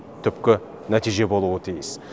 түпкі нәтиже болуы тиіс